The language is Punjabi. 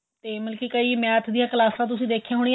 ਤੇ ਮਤਲਬ ਕੀ math ਦੀਆਂ ਕਲਾਸਾਂ ਤੁਸੀਂ ਦੇਖਿਆਂ